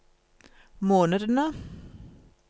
månedene